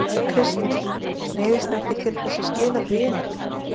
Kristján: Neyðist þið ekki til þess að skila því inn?